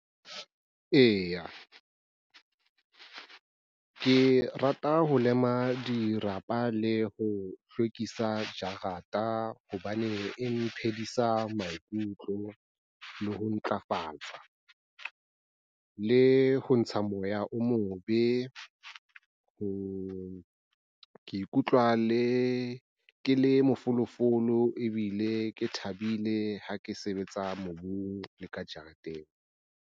Eya ke rata ho lema dirapa le ho hlwekisa jarata hobane e mphedisa maikutlo le ho ntlafatsa, le ho ntsha moya o mobe. Ho ikutlwa ke le mafolofolo ebile ke thabile ha ke sebetsa mobung le ka jareteng.